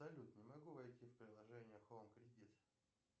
салют не могу войти в приложение хоум кредит